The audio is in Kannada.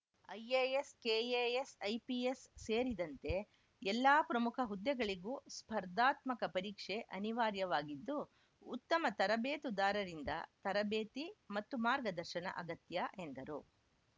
ಐಎಎಸ್‌ ಕೆಎಎಸ್‌ ಐಪಿಎಸ್‌ ಸೇರಿದಂತೆ ಎಲ್ಲಾ ಪ್ರಮುಖ ಹುದ್ದೆಗಳಿಗೂ ಸ್ಪರ್ಧಾತ್ಮಕ ಪರೀಕ್ಷೆ ಅನಿವಾರ್ಯವಾಗಿದ್ದು ಉತ್ತಮ ತರಬೇತುದಾರರದಿಂದ ತರಬೇತಿ ಮತ್ತು ಮಾರ್ಗದರ್ಶನ ಅಗತ್ಯ ಎಂದರು